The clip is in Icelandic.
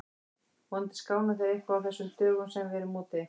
Vonandi skána þeir eitthvað á þessum dögum sem við verðum úti.